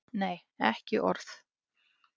Nei, ekki orð.